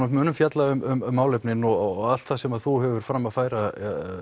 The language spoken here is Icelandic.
og munum fjalla um málefnin og allt það sem þú hefur fram að færa